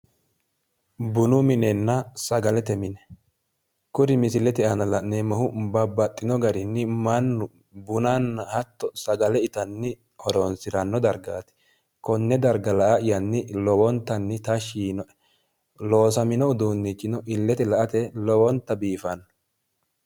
Bunu minenna sagalete mine kuri misilete aana la'neemmohu babbaxxino garinni mannu bunanna sagale itanni horonsi'ranno dargaati konne darga la'ayyanni tashshi yiinoe loosamino uduunnichino illete la"ate lowonta biifanno.